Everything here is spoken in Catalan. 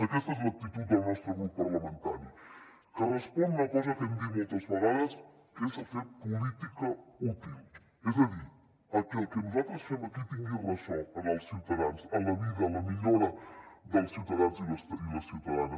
aquesta és l’actitud del nostre grup parlamentari que respon a una cosa que hem dit moltes vegades que és fer política útil és a dir a que el que nosaltres fem aquí tingui ressò en els ciutadans en la vida la millora dels ciutadans i les ciutadanes